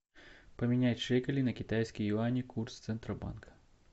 поменять шекели на китайские юани курс центробанка